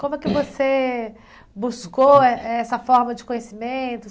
Como é que você buscou eh essa forma de conhecimento?